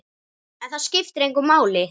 En það skiptir engu máli.